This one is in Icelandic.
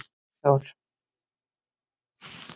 Sæþór